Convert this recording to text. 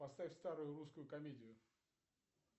поставь старую русскую комедию